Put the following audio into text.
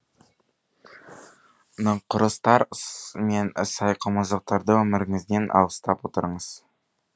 нақұрыстар мен сайқымазақтарды өміріңізден аластап отырыңыз